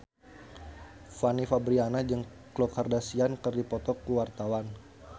Fanny Fabriana jeung Khloe Kardashian keur dipoto ku wartawan